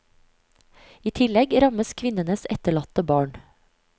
I tillegg rammes kvinnenes etterlatte barn.